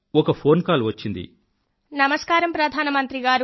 ఒక phone call వచ్చింది నమస్కారం ప్రధానమంత్రిగారూ నా పేరు మోనిక